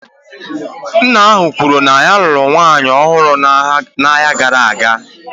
Nna ahụ kwuru na ya lụrụ nwunye ọhụrụ n'ọnwa gara aga